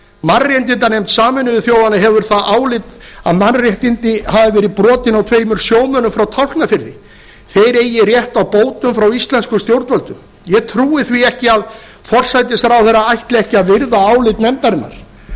mannréttindanefnd sameinuðu þjóðanna hefur það álit að mannréttindi hafi verið brotin á tveimur sjómönnum frá tálknafirði þeir eigi rétt á bótum frá íslenskum stjórnvöldum ég trúi því ekki að forsætisráðherra ætli ekki að virða álit nefndarinnar